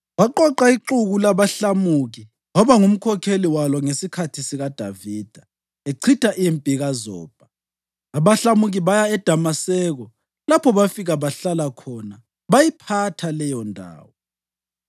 Waqoqa ixuku labahlamuki waba ngumkhokheli walo ngesikhathi uDavida echitha impi kaZobha; abahlamuki baya eDamaseko lapho bafika bahlala khona bayiphatha leyondawo.